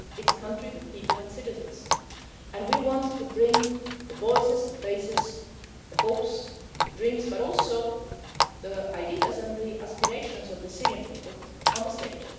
It is a country with people and citizens, and we want to bring the voices, the faces, the hopes, the dreams, but also the ideas and the aspirations of the Syrian people to the